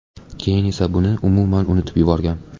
Keyin esa buni umuman unutib yuborgan.